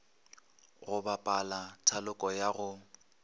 go bapala thaloko ya go